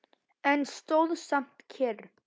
En stóð samt kyrr.